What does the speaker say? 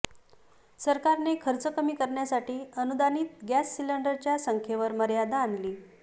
सरकारने खर्च कमी करण्यासाठी अनुदानित गॅस सिलिंडरच्या संख्येवर मर्यादा आणली